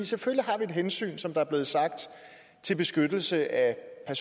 selvfølgelig har vi et hensyn som der er blevet sagt til beskyttelse af